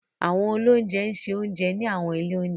Àwọn oloúnjẹ ń ṣe oúnjẹ ní àwọn ilé oúnjẹ.